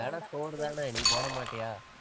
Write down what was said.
தெனம் சோறுதானே நீ போட மாட்டியா?